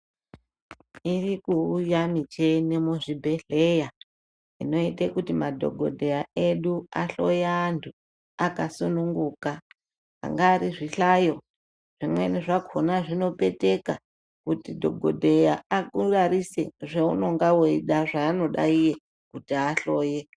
Irikuuya mucheni muzvibhedhleya inoite kuti madhokodheya edu ahloye antu akasununguka angari zvihlayo zvimweni zvakhona zvinopeteka kuti dhokodheya akurarise zvaunenge weida zvaanenge eida iye kuti ahloye.